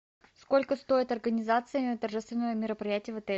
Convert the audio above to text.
сколько стоит организация торжественного мероприятия в отеле